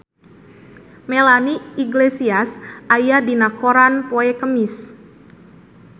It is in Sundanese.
Melanie Iglesias aya dina koran poe Kemis